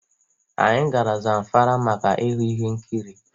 Anyị gara Zamfara maka ịhụ ihe nkịrị